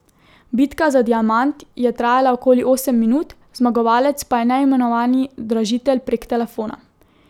Bitka za diamant je trajala okoli osem minut, zmagovalec pa je neimenovani dražitelj prek telefona.